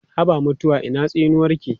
Haba mutuwa ina tsinuwarki?